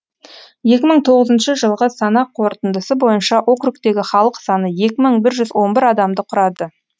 екі мың тоғызыншы жылғы санақ қорытындысы бойынша округтегі халық саны екі мың бір жүз он бір адамды құрады